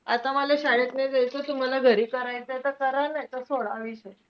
आता मला शाळेत नाई जायचं. तुम्हाला घरी करायचंय तर करा नाई त सोडा विषय.